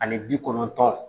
Ani bi kɔnɔntɔn.